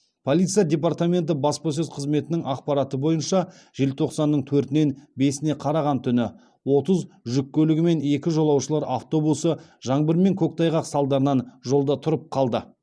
полиция департаменті баспасөз қызметінің ақпараты бойынша желтоқсанның төртінен бесіне қараған түні отыз жүк көлігі мен екі жолаушылар автобусы жаңбыр мен көктайғақ салдарынан жолда тұрып қалды